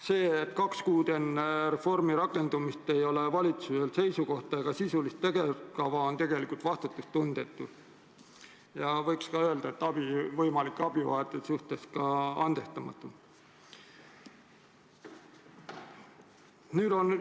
See, et nüüd kaks kuud enne reformi rakendumist ei ole valitsusel seisukohta ega sisulist tegevuskava, on tegelikult vastutustundetu ja võiks öelda, et võimalike abivajajate suhtes andestamatu.